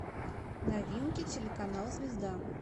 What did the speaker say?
новинки телеканал звезда